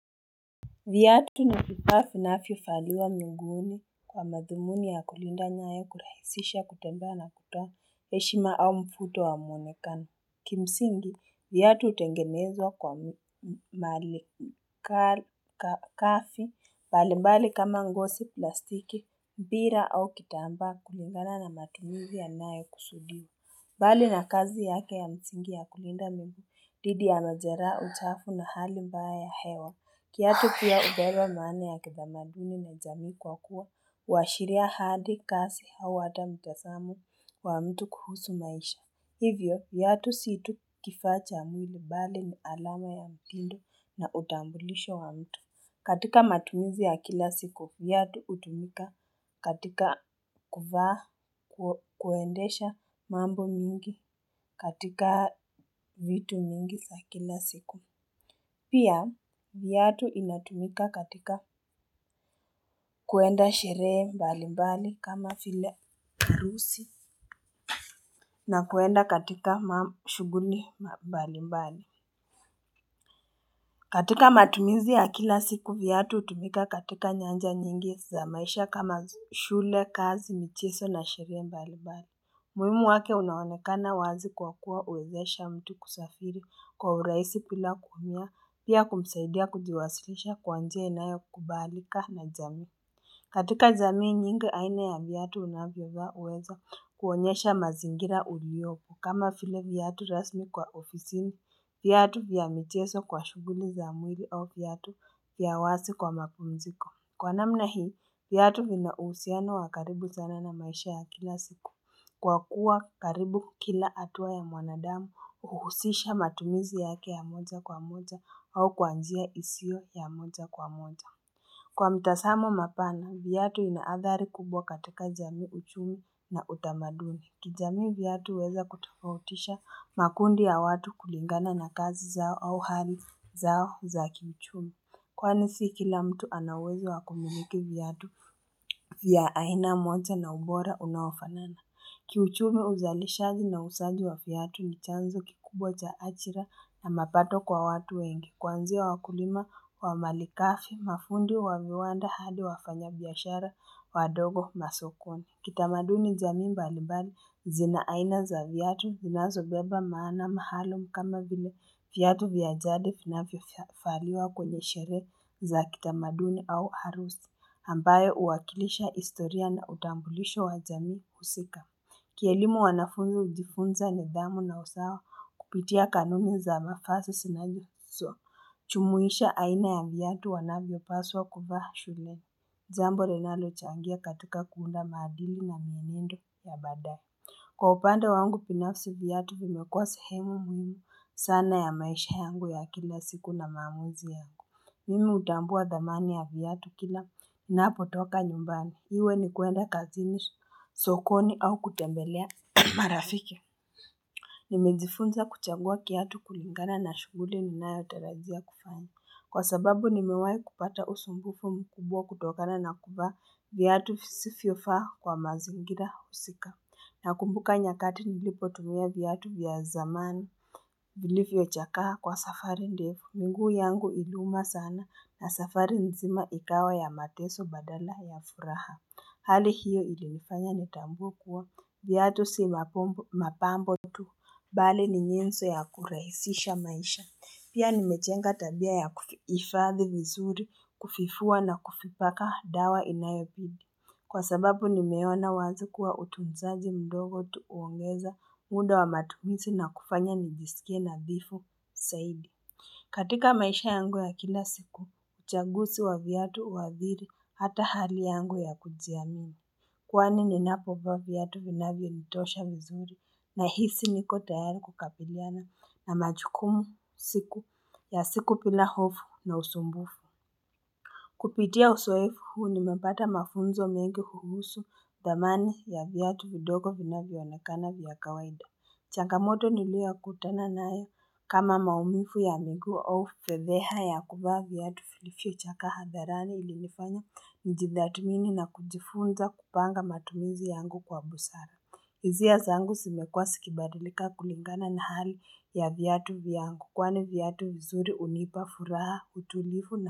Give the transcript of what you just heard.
Viatu ni vifaa vinvyovaliwa muguuni kwa madhumuni ya kulinda nyayo kurahisisha kutembea na kutoa heshima au mvuto wa mwonekana. Kimsingi, vyatu hutengenezwa kwa mali kafi mbali mbali kama ngosi plastiki, mpira au kitambaa kulingana na matumizi yanayokusudia. Bali na kazi yake ya msingi ya kulinda miguu, dhidi ya majeraha uchafu na hali mbaya ya hewa. Kiatu pia uberwa maana ya kitamaduni na jamii kwa kuwa, huashiria hadi kasi au hata mtazamu wa mtu kuhusu maisha. Hivyo, viatu si tu kifaa cha mwili bali ni alama ya mtindo na utambulisho wa mtu. Katika matumizi ya kila siku, viatu hutumika katika kuvaa kuendesha mambo mingi katika vitu mingi za kila siku. Pia, viatu inatumika katika kuenda sherehe mbali mbali kama file harusi na kuenda katika shughuni mbali mbali. Katika matumizi ya kila siku vyatu hutumika katika nyanja nyingi za maisha kama shule kazi micheso na sherehe mbalimbali umuhimu wake unaonekana wazi kuwa kuwa uwezesha mtu kusafiri kwa uraisi bila kuumia pia kumsaidia kujiwasilisha kwa njia inayokubalika na jamii katika jamii nyingi aina ya vyatu unavyovaa huweza kuonyesha mazingira uliyopo kama file vyatu rasmi kwa ofisini Vyatu vya michezo kwa shuguli za mwili au vyatu vya wazi kwa mapumziko. Kwa namna hii, vyatu vina uhusiano wa karibu sana na maisha ya kila siku. Kwa kuwa karibu kila hatua ya mwanadamu huhusisha matumizi yake ya moja kwa moja au kwa njia isio ya moja kwa moja. Kwa mtazamo mapana, vyatu ina adhari kubwa katika jamii uchumi na utamaduni. Kijamii viyatu weza kutafautisha makundi ya watu kulingana na kazi zao au hali zao za kichumi. Kwani si kila mtu ana uwezo wa kumiliki viatu vya aina moja na ubora unawafanana. Kiuchumi uzalishaji na uuzaji wa viatu ni chanzo kikubwa cha ajira na mapato kwa watu wengi. Kwanzia wakulima wa malikafi, mafundi wa viwanda hadi wafanya biashara wadogo masokoni. Kitamaduni jamii mbalibali zina aina za viatu vinazobeba maana maalum kama vile viatu vya jade finavyo faliwa kwenye shere za kitamaduni au harusi. Ambaye uwakilisha historia na utambulisho wa jamii husika. Kielimu wanafunzu hujifunza nidhamu na usawa kupitia kanuni za mafasi zinajifiswa. Chumuisha aina ya viatu wanavyo paswa kuvaa shule. Jambo ninalo changia katika kuunda madili na mienendo ya badaye Kwa upande wangu pinafsi viatu vimekuwa sehemu muhimu sana ya maisha yangu ya kila siku na maamuzi ya Mimi hutambua dhamani ya viatu kila napotoka nyumbani, iwe ni kuenda kazini sokoni au kutembelea marafiki Nimejifunza kuchagua kiatu kulingana na shughuli ninayotarajia kufanya Kwa sababu nimewai kupata usumbufu mkubwa kutokana na kuvaa Vyatu sifio faha kwa mazingira husika na kumbuka nyakati nilipotumia viatu vya zamani vilivyochakaa kwa safari ndefu miguu yangu iliuma sana na safari nzima ikawa ya mateso badala ya furaha Hali hiyo ilifnifanya nitambue kuwa Viatu si mapambo tu Bali ni nyinzo ya kurahisisha maisha Pia nimejenga tabia ya kuhifadhi vizuri kufifua na kufipaka dawa inayopidi. Kwa sababu nimeona wazi kuwa utunzaji mdogo tuu huongeza muda wa matumizi na kufanya nijisikie nabifu saidi. Katika maisha yangu ya kila siku, uchagusi wa vyatu huadhirii hata hali yangu ya kujiamini. Kwani ninapovaa viatu vinavyo nitosha vizuri nahisi niko tayari kukabiliana na majukumu siku ya siku bila hofu na usumbufu. Kupitia uzoefu huu nimepata mafunzo mengi huhusu dhamani ya vyatu vidogo vinavyoonekana vya kawaida. Changamoto niliokutana nayo kama maumivu ya miguu au fedheha ya kuvaa vyatu vilivyochakaa hadharani ilinifanya njithatmini na kujifunza kupanga matumizi yangu kwa busara hizia zangu zimekua sikibadilika kulingana na hali ya vyatu vyangu kwani viatu vizuri hunipa furaha utulivu na.